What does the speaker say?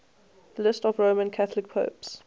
lists of roman catholic popes